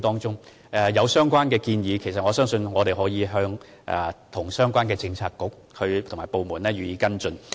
若議員有任何建議，我們可與相關政策局和部門作出跟進。